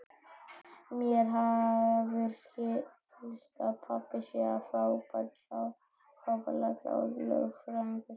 Mér hefur skilist að pabbi sé frábærlega klár lögfræðingur.